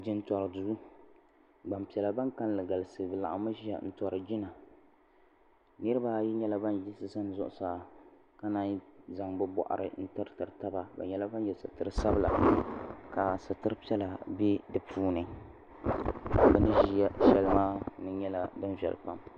Jintori duu gbampiɛla ban kalilli galisi bɛ nyɛla ban ʒia n tori jina niriba ayi nyɛla ban yiɣisi zani zuɣusaa ka nanyi zaŋ bɛ boɣari tiriti taba bɛ nyɛla ban ye sitiri sabila ka sitiri piɛla be dipuuni bini ʒiya sheli maa nyɛla din viɛli pam.